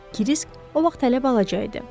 Krisk o vaxt hələ balaca idi.